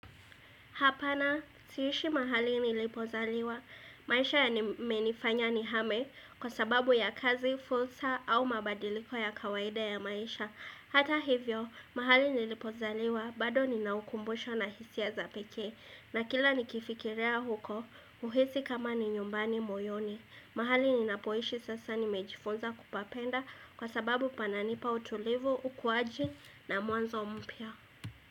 Hapana, siishi mahali nilipozaliwa, maisha yamenifanya nihame kwa sababu ya kazi, fursa au mabadiliko ya kawaida ya maisha. Hata hivyo, mahali nilipozaliwa, bado ninaukumbusho na hisia za pekee. Na kila nikifikiria huko, huhisi kama ni nyumbani moyoni. Mahali ninapoishi sasa nimejifunza kupapenda kwa sababu pananipa utulivu, ukuwaji na mwanzo mpya.